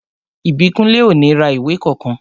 Ìbíkúnlé ò ní ra ìwé kankan